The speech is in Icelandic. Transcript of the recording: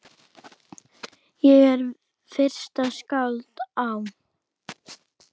Ég er fyrsta skáld á